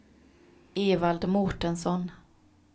Evald Mårtensson